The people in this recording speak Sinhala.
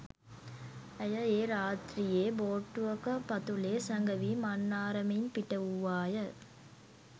ඇය ඒ රාත්‍රියේ බෝට්ටුවක පතුලේ සැඟවී මන්නාරමෙන් පිටවූවා ය.